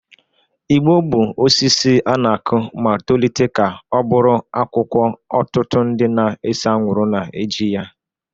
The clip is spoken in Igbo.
Igbo bụ osisi a na-akụ ma tolite ka ọ bụrụ akwụkwọ ọtụtụ ndị na-ese anwụrụ na-eji ya